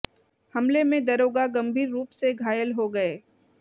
हमले में दरोगा गंभीर रूप से घायल हो गए